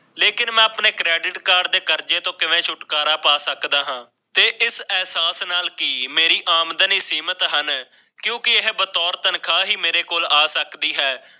ਲੇਕਿਨ ਆਪਣੇ credit card ਕਰਜ਼ੇ ਤੋਂ ਕਿਵੇਂ ਛੁਟਕਾਰਾ ਪਾ ਸਕਦਾ ਹਾਂ ਤੇ ਇੰਟਰਨੈਟ ਦੀ ਆਮਦਨੀ ਸੀਮਤ ਹਨ ਇੰਦੌਰ ਨਾਲ ਹੀ ਮੇਰੀ ਆਮਦਨੀ ਮੇਰੇ ਕੰਮ ਆ ਸਕਦੀ ਹੈ